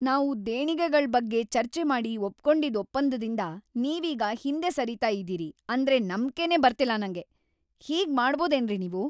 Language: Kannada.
ನಾವು ದೇಣಿಗೆಗಳ್ ಬಗ್ಗೆ ಚರ್ಚೆ ಮಾಡಿ ಒಪ್ಕೊಂಡಿದ್ ಒಪ್ಪಂದದಿಂದ ನೀವೀಗ ಹಿಂದೆ ಸರೀತಾ ಇದೀರಿ ಅಂದ್ರೆ ನಂಬ್ಕೆನೇ ಬರ್ತಿಲ್ಲ ನಂಗೆ! ಹೀಗ್‌ ಮಾಡ್ಬೋದೇನ್ರಿ ನೀವು?!